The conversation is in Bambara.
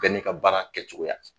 Bɛɛ n'i ka baara kɛ cogoya